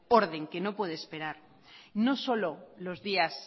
orden que no puede esperar no solo los días